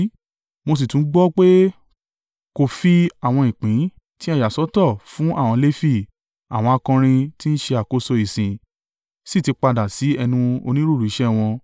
Mo sì tún gbọ́ pé, kò fi àwọn ìpín tí a yà sọ́tọ̀ fún àwọn Lefi, àwọn akọrin tí ń ṣe àkóso ìsìn sì ti padà sí ẹnu onírúurú iṣẹ́ wọn.